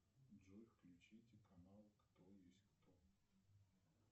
джой включите канал кто есть кто